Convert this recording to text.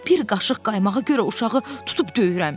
Bir qaşıq qaymağa görə uşağı tutub döyürəm.